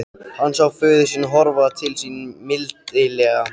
Hann sá föður sinn horfa til sín mildilega.